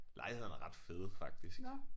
Lejlighederne er ret fede faktisk